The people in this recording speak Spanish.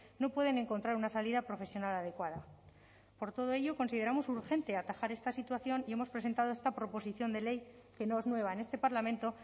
no pueden encontrar una salida profesional adecuada por todo ello consideramos urgente atajar esta situación y hemos presentado esta proposición de ley que no es nueva en este parlamento